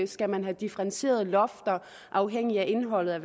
skal man have differentierede lofter afhængigt af indholdet af